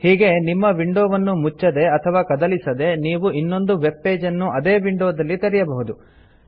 ಹೀಗೆ ನಿಮ್ಮ ವಿಂಡೊವನ್ನು ಮುಚ್ಚದೆ ಅಥವಾ ಕದಲಿಸದೆ ನೀವು ಇನ್ನೊಂದು ವೆಬ್ ಪೇಜನ್ನು ಅದೇ ವಿಂಡೊದಲ್ಲಿ ತೆರೆಯಬಹುದು